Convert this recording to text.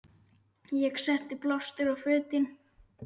Ég setti blástur á fötin.